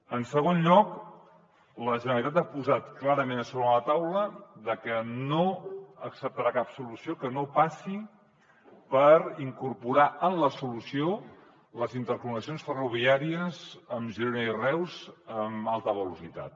en segon lloc la generalitat ha posat clarament a sobre de la taula que no acceptarà cap solució que no passi per incorporar en la solució les interconnexions ferroviàries amb girona i reus amb alta velocitat